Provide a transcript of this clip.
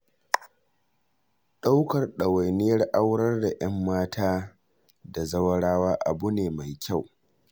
Ɗaukar ɗawainiyar aurar da ƴanmata da zawarawa abu ne mai kyau.